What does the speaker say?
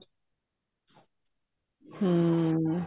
ਹਮ